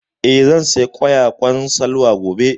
Eh, zan saya ƙwayaƙwan Salwa gobe